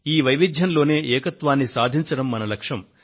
ఈ వైవిధ్యంలోనే ఏకత్వాన్ని సాధించడం మన లక్ష్యం